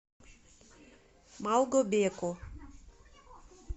малгобеку